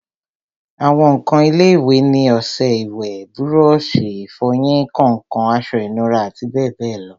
àwọn ǹkan ilé-ìwẹ̀ ni ọsẹ ìwẹ̀, búrọ̀sì ìfọyín, kàǹkàn, aṣọ ìnura àti bẹ́ẹ̀bẹ́ẹ̀ lọ